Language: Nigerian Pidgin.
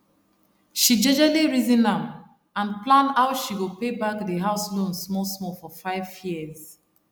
she jejely reason am and plan how she go pay back di house loan small small for 5 yrs